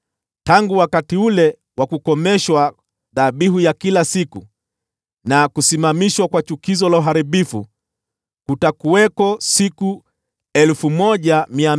“Tangu wakati ule wa kukomeshwa dhabihu ya kila siku na kusimamishwa kwa chukizo la uharibifu, kutakuwako siku 1,290.